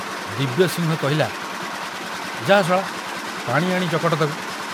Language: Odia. ଦିବ୍ୟସିଂହ କହିଲା, ଯା ଶଳା, ପାଣି ଆଣି ଚକଟ ତାକୁ।